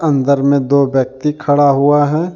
अंदर में दो व्यक्ति खड़ा हुआ है।